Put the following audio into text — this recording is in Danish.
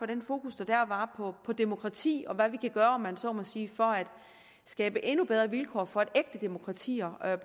det fokus der dér var på demokrati og hvad vi kan gøre om man så må sige for at skabe endnu bedre vilkår for at ægte demokratier